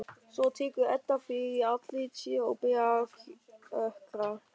Svo tekur Edda fyrir andlit sér og byrjar að kjökra.